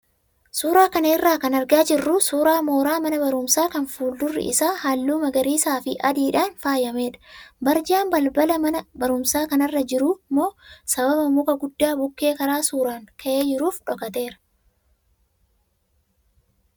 Suuraa kana irraa kan argaa jirru suuraa mooraa mana barumsaa kan fuuldurri isaa halluu magariisaa fi adiidhaan faayamedha. Barjaan balbala mana barumsaa kanarra jiru immoo sababa muka guddaa bukkee karaa suuraan ka'e jiruuf dhokateera.